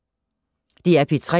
DR P3